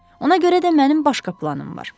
Ona görə də mənim başqa planım var.